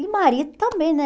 E marido também, né?